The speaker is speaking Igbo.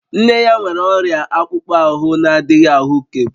Nne ya nwere ọrịa akpụkpọ ahụ na-adịghị ahụkebe